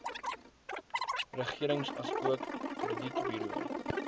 regering asook kredietburo